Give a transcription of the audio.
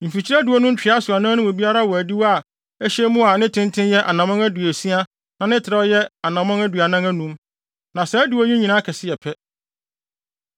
Mfikyiri adiwo no ntwea so anan no mu biara wɔ adiwo a ɛhyɛ mu a ne tenten yɛ anammɔn aduosia na ne trɛw yɛ anammɔn aduanan anum; na saa adiwo yi nyinaa kɛse yɛ pɛ.